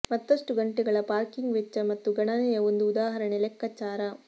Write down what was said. ಮತ್ತಷ್ಟು ಗಂಟೆಗಳ ಪಾರ್ಕಿಂಗ್ ವೆಚ್ಚ ಮತ್ತು ಗಣನೆಯ ಒಂದು ಉದಾಹರಣೆ ಲೆಕ್ಕಾಚಾರ